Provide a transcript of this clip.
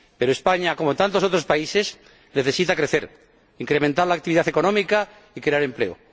Pero España, como tantos otros países, necesita crecer, incrementar la actividad económica y crear empleo.